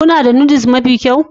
Kuna da Noodles mafi kyau